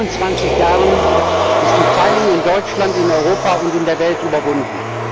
seit 25 Jahren ist die Teilung in Deutschland, in Europa und in der Welt überwunden.